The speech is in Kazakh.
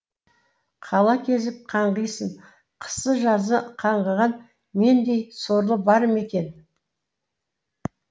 қала кезіп қаңғисың қысы жазы қаңғыған мендей сорлы бар ма екен